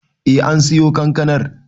Eh an siyo kankanar